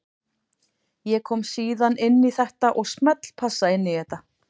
Ég kom síðan inn í þetta og smellpassa inn í þetta.